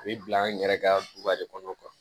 A bɛ bila an yɛrɛ ka duba de kɔnɔ